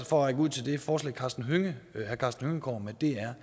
for at række ud til det forslag herre karsten hønge kommer med er